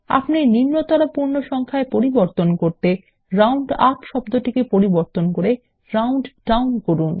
আপনি নিম্নতর পূর্ণ সংখ্যায় পরিবর্তন করতে রাউন্ড আপ শব্দকে পরিবর্তন করে রাউন্ড ডাউন করুন